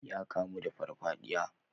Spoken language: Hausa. Ya kamu da farfadiya.